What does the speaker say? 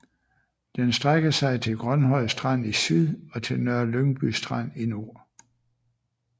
Den strækker sig til Grønhøj Strand i syd og til Nørre Lyngby Strand i nord